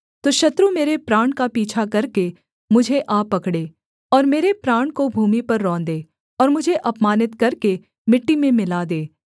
तो शत्रु मेरे प्राण का पीछा करके मुझे आ पकड़े और मेरे प्राण को भूमि पर रौंदे और मुझे अपमानित करके मिट्टी में मिला दे सेला